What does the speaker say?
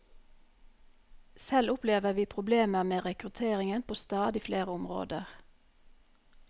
Selv opplever vi problemer med rekrutteringen på stadig flere områder.